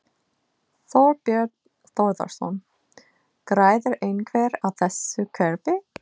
Þorbjörn Þórðarson: Græðir einhver á þessu kerfi?